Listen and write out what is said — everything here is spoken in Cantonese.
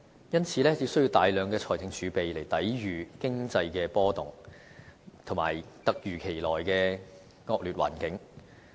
因此，有需要大量財政儲備來抵禦經濟的波動，以及突如其來的惡劣環境。